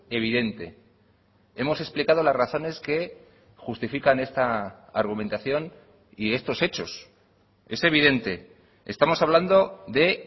evidente hemos explicado las razones que justifican esta argumentación y estos hechos es evidente estamos hablando de